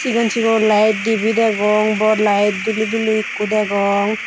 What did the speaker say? sigon sigon lite dibey degong bor light duli duli ekko degong.